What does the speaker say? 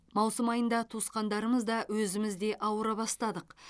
маусым айында туысқандарымыз да өзіміз де ауыра бастадық